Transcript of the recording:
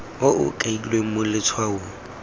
o o kailweng mo letshwaong